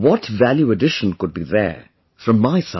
What value addition could be there from my side